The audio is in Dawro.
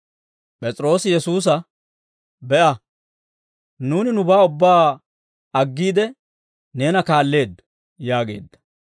P'es'iroosi Yesuusa, «Be'a; nuuni nubaa ubbaa aggiide, neena kaalleeddo» yaageedda.